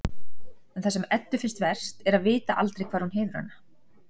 En það sem Eddu finnst verst er að vita aldrei hvar hún hefur hana.